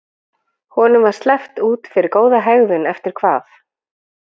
Honum var sleppt út fyrir góða hegðun eftir hvað?